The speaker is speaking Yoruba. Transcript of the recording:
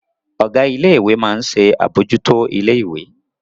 Ọ̀gá ilé ìwé máa ń ṣe àbójútó ilé ìwé